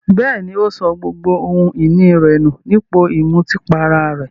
Bẹ́ẹ̀ní, ó sọ gbogbo ohun ìní rẹ̀ nù ní ipò ìmutípara rẹ̀.